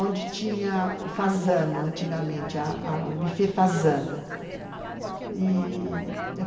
onde tinha o fazano, antigamente, o bufê fazano.